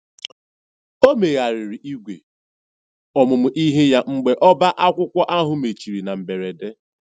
O megharịrị ìgwè ọmụmụ ihe ya mgbe ọbá akwụkwọ ahụ mechiri na mberede.